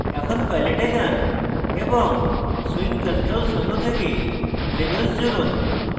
এখন palette এ যান এবং swing controls menu থেকে labels জুড়ুন